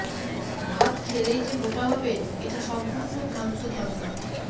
ভাত খেলেই যে মোটা হবেন এটা সম্পূর্ণ ভ্রান্ত ধারণা